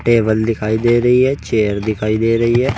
Table दिखाई दे रही है चेयर दिखाई दे रही है।